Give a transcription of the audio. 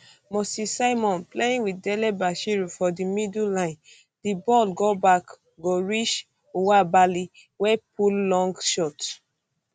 moses simon playing wit delebashiru um for di middle line di ball go back go reach nwabali wey pull long shot